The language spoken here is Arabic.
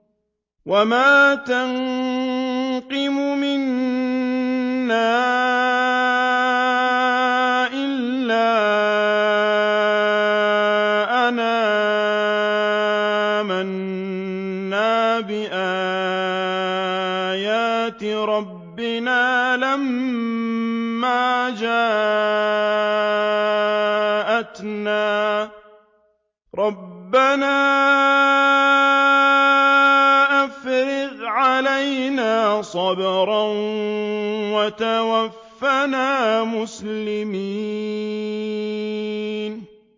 وَمَا تَنقِمُ مِنَّا إِلَّا أَنْ آمَنَّا بِآيَاتِ رَبِّنَا لَمَّا جَاءَتْنَا ۚ رَبَّنَا أَفْرِغْ عَلَيْنَا صَبْرًا وَتَوَفَّنَا مُسْلِمِينَ